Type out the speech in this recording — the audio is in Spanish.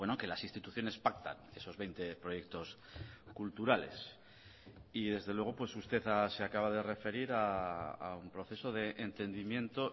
que las instituciones pactan esos veinte proyectos culturales y desde luego usted se acaba de referir a un proceso de entendimiento